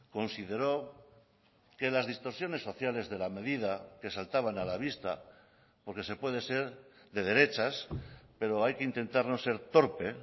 consideró que las distorsiones sociales de la medida que saltaban a la vista porque se puede ser de derechas pero hay que intentarnos ser torpe